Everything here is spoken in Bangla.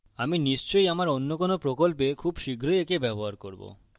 আমি নিশ্চই আমার অন্য কোনো প্রকল্পে খুব শীঘ্রই একে ব্যবহার করবো